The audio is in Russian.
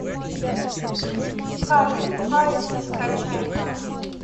халиф аист скачай ка